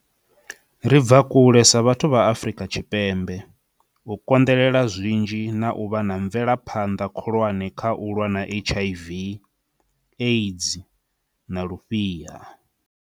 Ri bva kule sa vhathu vha Afrika Tshipembe, u konḓele-la zwinzhi na u vha na mve-laphanḓa khulwane kha u lwa na HIV, AIDS na Lufhiha.